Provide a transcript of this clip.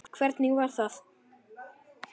Hvernig var það?